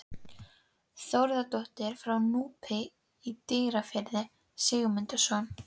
Þórðardóttir frá Núpi í Dýrafirði, Sigmundssonar.